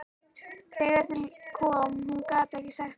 Þegar til kom,- hún gat ekki sagt það.